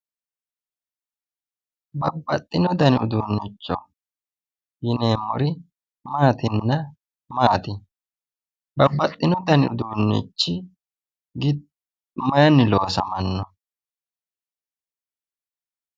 Babbaxxino dani uduunnicho yineemmori maatinna maati? Babbaxxino dani uduunnichi mayiinni loosamanno?